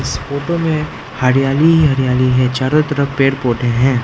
इस फोटो में हरियाली ही हरियाली है चारों तरफ पेड़ पौधे हैं।